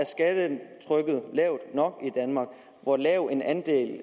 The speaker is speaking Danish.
lavt nok i danmark og hvor lav en andel det